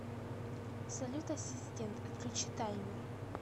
салют ассистент отключи таймер